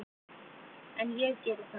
En ég geri það.